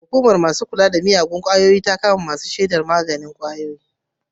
Hukumar yaƙi da sha da fataucin miyagun ƙwayoyi ta kama masu saida jabun magani.